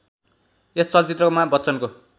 यस चलचित्रमा बच्चनको